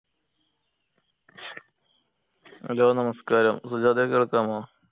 hello നമസ്ക്കാരം സജാദേ കേൾക്കാമോ